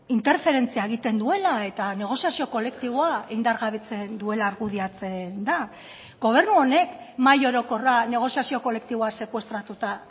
interferentzia egiten duela eta negoziazio kolektiboa indargabetzen duela argudiatzen da gobernu honek mahai orokorra negoziazio kolektiboa sekuestratuta